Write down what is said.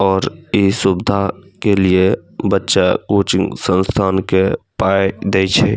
और इ सुविधा के लिए बच्चा कोचिंग संस्थान के पाए दे छे।